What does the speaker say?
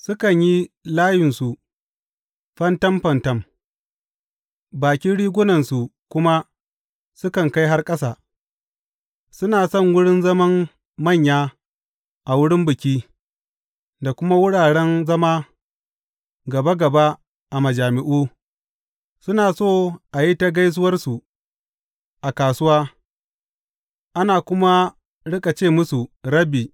Sukan yi layunsu fantam fantam bakin rigunarsu kuma sukan kai har ƙasa; suna son wurin zaman manya a wurin biki, da kuma wuraren zama gaba gaba a majami’u; suna so a yi ta gaisuwarsu a kasuwa, ana kuma riƙa ce musu, Rabbi.’